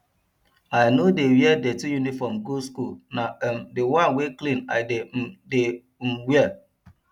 i no dey wear dirty uniform go school na um the one wey clean i dey um dey um wear